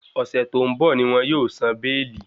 Ọ̀sẹ̀ tó ń bọ̀ ní wọn yóò san béèlì.